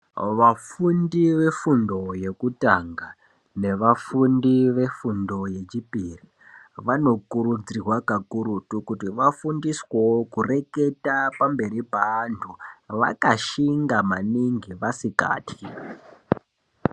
Vafundi vefundo yekutanganevafundi vefundo yechipiri vanokurudzirwa kakurutu kuti vafundiswewo kureketa pamberi peantu vakashinga maningi vasikatwi.